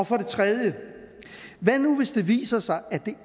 for det tredje hvad nu hvis det viser sig at det